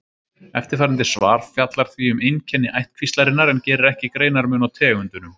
Eftirfarandi svar fjallar því um einkenni ættkvíslarinnar en gerir ekki greinarmun á tegundunum.